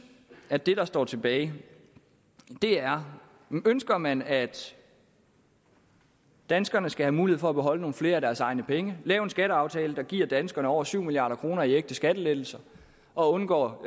at det der står tilbage er ønsker man at danskerne skal have mulighed for at beholde nogle flere af deres egne penge lave en skatteaftale der giver danskerne over syv milliard kroner i ægte skattelettelser og undgå